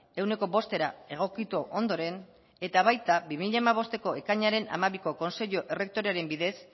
ehuneko bostera egokitu ondoren eta baita bi mila hamabosteko ekainaren hamabiko kontseilu errektorearen bidez